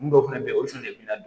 Mun dɔw fɛnɛ bɛ ye olu fana de bɛ na